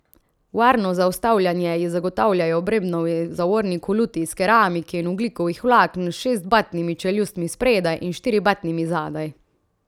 Varno zaustavljanje ji zagotavljajo Brembovi zavorni koluti iz keramike in ogljikovih vlaken s šestbatnimi čeljustmi spredaj in štiribatnimi zadaj.